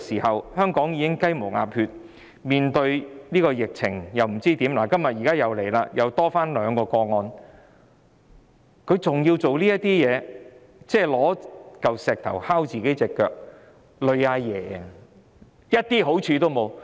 香港已經"雞毛鴨血"，面對疫情不知如何是好，今天又新增兩宗確診個案，她還要做這些事情，搬起石頭砸自己的腳，連累"阿爺"，一點好處也沒有。